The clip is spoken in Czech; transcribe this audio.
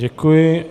Děkuji.